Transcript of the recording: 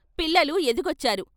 పిల్లలు ఎదిగొచ్చారు.